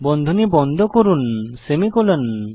বন্ধনী বন্ধ করুন সেমিকোলন